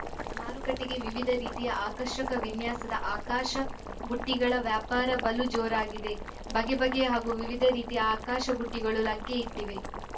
ಮಾರುಕಟ್ಟೆಗೆ ವಿವಿಧ ರೀತಿಯ ಆಕರ್ಷಕ ವಿನ್ಯಾಸದ ಆಕಾಶ ಬುಟ್ಟಿಗಳ ವ್ಯಾಪಾರ ಬಲು ಜೋರಾಗಿದೆ ಬಗೆಬಗೆಯ ಹಾಗೂ ವಿವಿಧ ರೀತಿಯ ಆಕಾಶ ಬುಟ್ಟಿಗಳು ಲಗ್ಗೆ ಇಟ್ಟಿವೆ